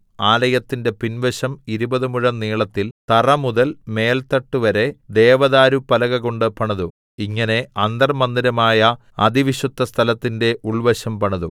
ആലയത്തിന്റെ പിൻവശം ഇരുപത് മുഴം നീളത്തിൽ തറ മുതൽ മേൽത്തട്ട് വരെ ദേവദാരുപ്പലകകൊണ്ട് പണിതു ഇങ്ങനെ അന്തർമ്മന്ദിരമായ അതിവിശുദ്ധസ്ഥലത്തിന്റെ ഉൾവശം പണിതു